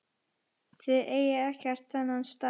Þið eigið ekkert þennan stað.